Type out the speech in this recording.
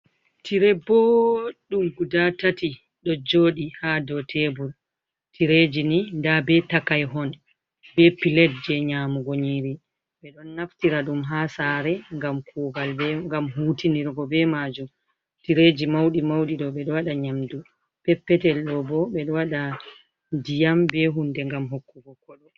"Tirey" booɗɗum gudaa tati ɗojjooɗi haa dow teebur, "tireeji" ni ndaa bee takayhon bee "pilet" jey nyaamugo nyiiri. Ɓe ɗon naftira ɗum haa saare ngam kuugal, ngam huutinirgo bee maajum, tireeji mawɗi mawɗi ɗoo ɓe ɗo waɗa nyaamdu. Peppetel ɗoo bo ɓe ɗo waɗa ndiyam bee huunde ngam hokkugo ƙoɗo.